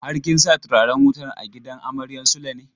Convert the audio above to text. Har kin sa turaren wutan a gidan amaryan Sule ne?